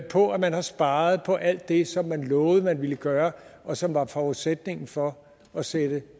på at man har sparet på alt det som man lovede man ville gøre og som var forudsætningen for at sætte